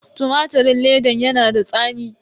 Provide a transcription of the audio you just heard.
Tumatirin ledan yana da tsami.